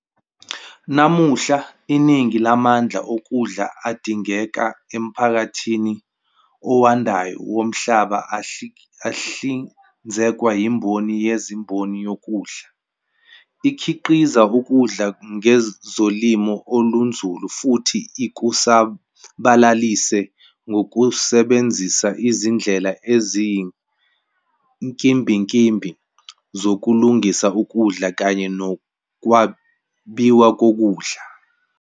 Namuhla, iningi lamandla okudla adingeka emphakathini owandayo womhlaba ahlinzekwa yimboni yezimboni yokudla, ekhiqiza ukudla ngezolimo olunzulu futhi ikusabalalise ngokusebenzisa izindlela eziyinkimbinkimbi zokulungisa ukudla kanye nokwabiwa kokudla.